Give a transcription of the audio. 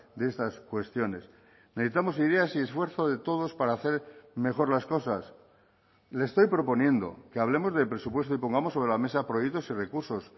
de estas cuestiones necesitamos ideas y esfuerzo de todos para hacer mejor las cosas le estoy proponiendo que hablemos del presupuesto y pongamos sobre la mesa proyectos y recursos